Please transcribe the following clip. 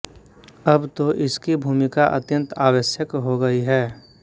अब तो इसकी भूमिका अत्यन्त आवश्यक हो गई है